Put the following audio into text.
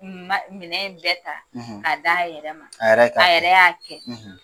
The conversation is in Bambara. minɛn in bɛɛ ta k'a d' a yɛrɛ ma a yɛrɛ y'a kɛ.